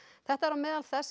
þetta er á meðal þess